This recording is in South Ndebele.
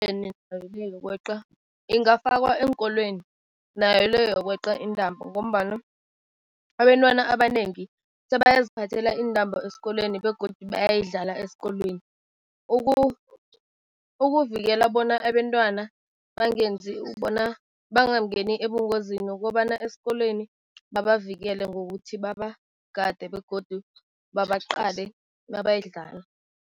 Yokweqa ingafakwa eenkolweni, nayo le yokweqa intambo ngombana abentwana abanengi, sabayaziphathela iintambo esikolweni begodu bayayidlala esikolweni. Ukuvikela bona abentwana bangenzi bona bangangeni ebungozini, ukobana esikolweni babavikele ngokuthi babagade begodu babaqale mabayidlala.